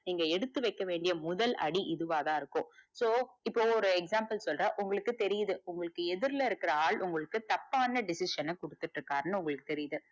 நீங்க எடுத்து வைக்க வேண்டிய முதல் அடி இதுவாதா இருக்கும் so இப்ப ஒரு example சொல்ற உங்களுக்கு தெரிது உங்களுக்கு எதிர்ல இருக்க ஆள் உங்களுக்கு தப்பான decision ன குடுத்துட்டு இருக்காருன்னு உங்களுக்கு தெறித்து,